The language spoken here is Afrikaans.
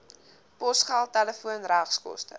posgeld telefoon regskoste